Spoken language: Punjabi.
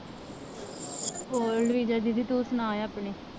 ਹੋਰ ਰਿਜਾ ਦੀਦੀ ਤੂੰ ਸੁਣਾ ਆਪਣੀ